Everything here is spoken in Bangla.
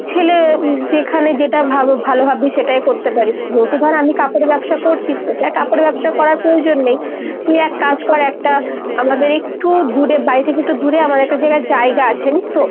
ছেলে যেখানে যেটা ভালো ভাববি সেটাই করতে পারিস। যেহেতু ধর আমি কাপড়ে ব্যবসা করছি তোকে আর কাপড়ের ব্যবসা করার প্রয়োজন নেই। তুই এক কাজ কর একটা আমাদের একটু দূরে বাড়ি থেকে একটু দূরে আমাদের একটা জায়গায় জায়গা আছে জানিস তো ?